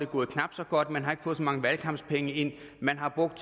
gået knap så godt man har ikke fået så mange valgkampspenge ind man har brugt